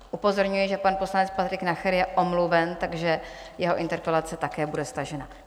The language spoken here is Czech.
Upozorňuji, že pan poslanec Patrik Nacher je omluven, takže jeho interpelace také bude stažena.